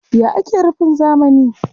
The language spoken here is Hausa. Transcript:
Yaya ake rufin zamani?